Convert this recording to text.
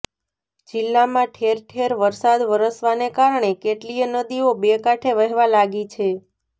જિલ્લામાં ઠેર ઠેર વરસાદ વરસવાને કારણે કેટલીય નદીઓ બે કાંઠે વહેવા લાગી છે